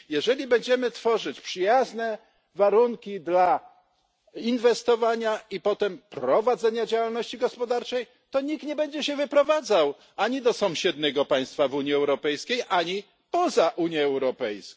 Jeżeli będziemy tworzyć przyjazne warunki dla inwestowania, a potem prowadzenia działalności gospodarczej, to nikt nie będzie się wyprowadzał ani do sąsiedniego państwa w Unii Europejskiej, ani poza Unię Europejską.